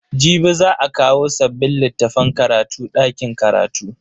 Jibi za a kawo sabbin littafan karatu dakin karatu.